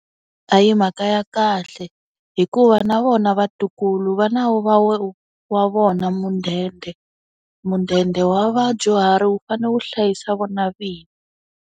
A hi mhaka ya kahle. Hikuva na vona vatukulu va na wa vona mudende. Mudende wa vadyuhari wu fanele wu hlayisa vona vinyi.